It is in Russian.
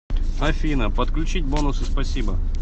афина подключить бонусы спасибо